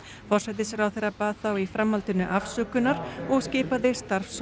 forsætisráðherra bað þá í framhaldinu afsökunar og skipaði starfshóp